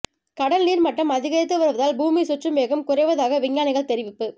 கடல் நீர் மட்டம் அதிகரித்து வருவதால் பூமி சுற்றும் வேகம் குறைவதாக விஞ்ஞானிகள் தெரிவிப்பு